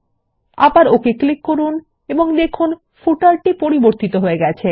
আবার okay click করুন এবং দেখুন পাদলেখ টি পরিবতিত হয়ে গেছে